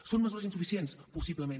són mesures insuficients possiblement